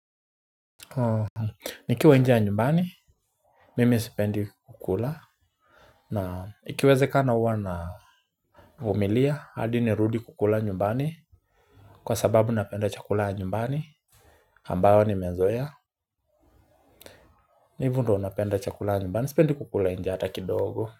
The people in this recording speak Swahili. Nikiwa nje ya nyumbani. Mimi sipendi kukula. Na ikiwezekana huwa na vumilia hadi nirudi kukula nyumbani. Kwa sababu napenda chakula ya nyumbani. Ambayo nimezoea. Hivyo ndio napenda chakula ya nyumbani sipendi kukula nje hata kidogo.